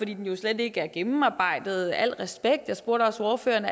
den jo slet ikke er gennemarbejdet med al respekt jeg spurgte også ordføreren